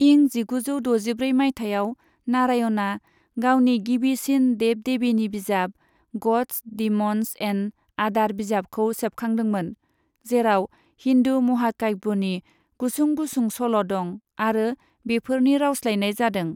इं जिगुजौ द'जिब्रै माइथायाव नारायणआ गावनि गिबिसिन देब देबीनि बिजाब, ग'ड्स, डिम'न्स एन्ड आदार बिजाबखौ सेबखांदोंमोन, जेराव हिन्दू महाकाब्यनि गुसुं गुसुं सल' दं आरो बेफोरनि रावस्लायनाय जादों।